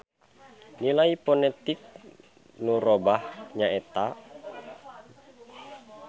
Nilai ponetik nu robah nyaeta.